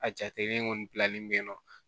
A jatelen kɔni pilanni bɛ yen nɔ